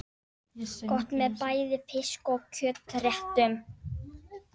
Gott með bæði fisk- og kjötréttum.